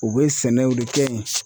U bɛ sɛnɛw de kɛ yen.